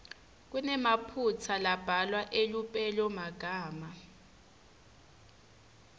kunemaphutsa lambalwa elupelomagama